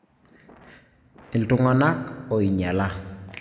Ltunganak oinyala